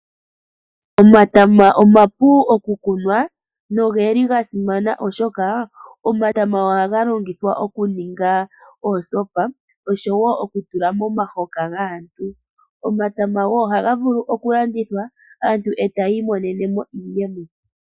Omatama omapu okukunwa nogeli ga simana oshoka omatama ohaga longithwa okuninga oosopa oshowo okutula momahoka gaantu. Omatama ohaga vulu okulandithwa aantu etaya imonene mo iiyemo.